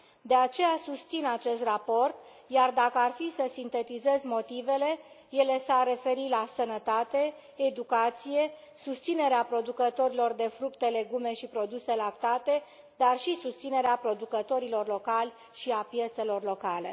De aceea susțin acest raport, iar dacă ar fi să sintetizez motivele, ele s ar referi la sănătate, educație, susținerea producătorilor de fructe, legume și produse lactate, dar și susținerea producătorilor locali și a piețelor locale.